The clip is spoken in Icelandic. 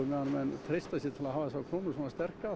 meðan menn treysta sér til að hafa þessa krónu svona sterka